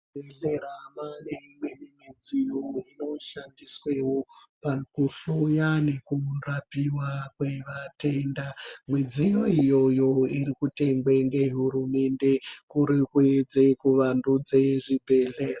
Mu zvibhedhlera mane imweni midziyo ino shandiswewo paku hloya neku rapiwa kwe vatenda midziyo iyoyo iri kutengwe nge hurumende kuri kuedze ku vandudze zvi bhedhleya.